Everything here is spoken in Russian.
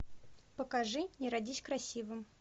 покажи не родись красивым